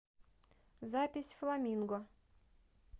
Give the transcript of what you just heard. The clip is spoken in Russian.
запись фламинго